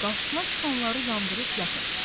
Qarşısına çıxanları yandırıb yaxır.